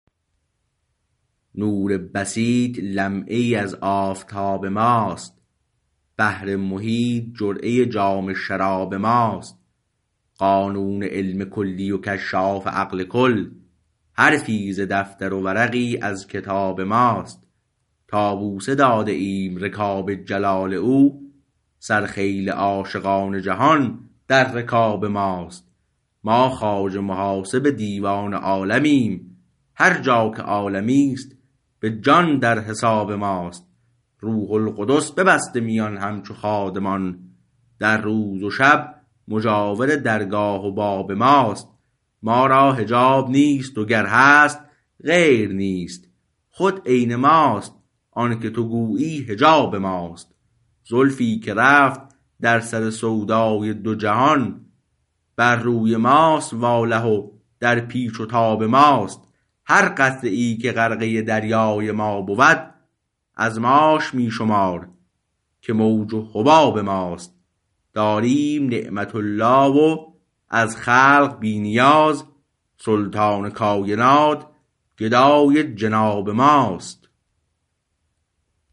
نور بسیط لمعه ای از آفتاب ماست بحر محیط جرعه جام شراب ماست قانون علم کلی و کشاف عقل کل حرفی ز دفتر و ورقی از کتاب ماست تا بوسه داده ایم رکاب جلال او سرخیل عاشقان جهان در رکاب ماست ما خواجه محاسب دیوان عالمیم هرجا که عالمیست به جان در حساب ماست روح القدس ببسته میان همچو خادمان در روز و شب مجاور درگاه و باب ماست ما را حجاب نیست و گر هست غیر نیست خود عین ماست آنکه تو گویی حجاب ماست زلفی که رفت در سر سودای دو جهان بر روی ماست واله و در پیچ و تاب ماست هر قطره ای که غرقه دریای ما بود از ماش می شمار که موج و حباب ماست داریم نعمت الله و از خلق بی نیاز سلطان کاینات گدای جناب ماست